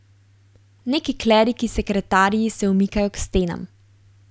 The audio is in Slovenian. Neki kleriki sekretarji se umikajo k stenam.